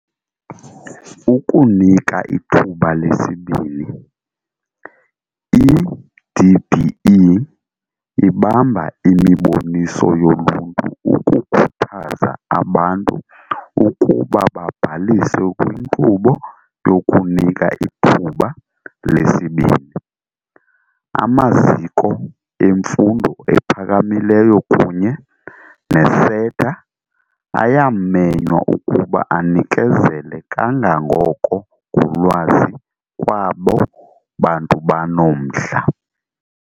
Ukunika ithuba lesibini. I-DBE ibamba imiboniso yoluntu ukukhuthaza abantu ukuba babhalise kwinkqubo yokuNika iThuba leSibini. Amaziko emfundo aphakamileyo kunye ne-SETA ayamenywa ukuba anikezele kangangoko ngolwazi kwabo bantu banomdla.